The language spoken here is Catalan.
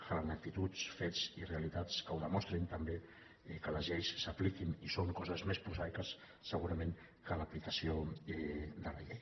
calen actituds fets i realitats que ho demostrin també que les lleis s’apliquin i són coses més prosaiques segurament que l’aplicació de la llei